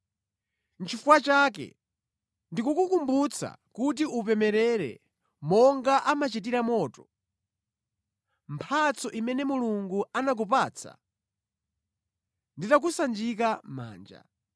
Nʼchifukwa chake ndikukukumbutsa kuti upemerere monga amachitira moto, mphatso imene Mulungu anakupatsa nditakusanjika manja.